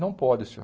Não pode, senhor.